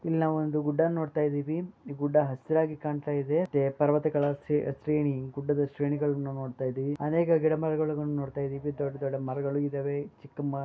ಇಲ್ಲಿ ನಾವು ಒಂದು ಗುಡ್ಡ ನೋಡ್ತ ಇದೀವಿ ಇ ಗುಡ್ಡ ಹಸಿರಾಗಿ ಕಾಣ್ತಾ ಇದೆ ಪರ್ವತಗಳ ಸ್ರೇ ಸ್ರೇಣಿ ಗುಡ್ಡಗಳ ಶ್ರೇಣಿಗಳ್ಳನ ನೋಡ್ತಾ ಇದಿವಿ ಅನೇಕ ಗಿಡ ಮರಗಳ್ಳನ್ನು ನೋಡತಾ ಇದ್ದೇವಿ ದೊಡ್ಡ ದೊಡ್ಡ ಮರಗಳು ಇದಾವೆ ಚಿಕ್ಕ ಮ --